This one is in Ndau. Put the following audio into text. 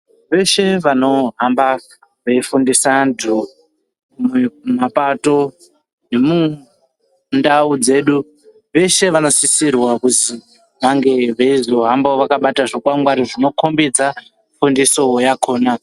Veshe vanohamba veifundisa vantu mumapato nemundau dzedu veshe vanosisirwa kuzwi vange veizohamba vakabata zvikwangwari zvino kombidza fundiso yakona.